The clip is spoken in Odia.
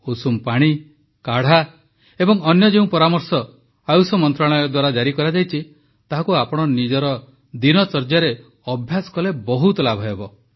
ଉଷୁମ ପାଣି କାଢ଼ା ଏବଂ ଅନ୍ୟ ଯେଉଁ ପରାମର୍ଶ ଆୟୁଷ ମନ୍ତ୍ରଣାଳୟ ଦ୍ୱାରା ଜାରି କରାଯାଇଛି ତାହାକୁ ଆପଣ ନିଜ ଦିନଚର୍ଯ୍ୟାରେ ଅଭ୍ୟାସ କଲେ ବହୁତ ଲାଭହେବ